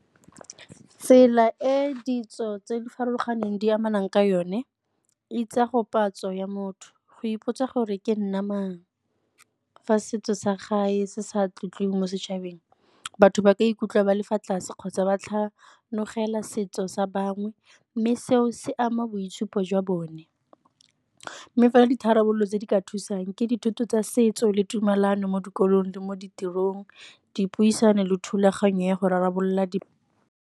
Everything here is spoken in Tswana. Tsela e ditso tse di farologaneng di amanang ka yone e tswa go ya motho go ipotsa gore ke nna mang fa setso sa gae se sa tlotliwe mo setšhabeng. Batho ba ka ikutlwa ba le fa tlase kgotsa ba tlhano tlogela setso sa bangwe mme seo se ama boitshupo jwa bone. Mme fela ditharabololo tse di ka thusang ke dithuto tsa setso le tumelano mo dikolong le mo ditirong, dipuisano le thulaganyo ya go rarabolola di.